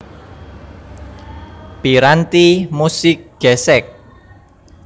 Piranti musik gèsèk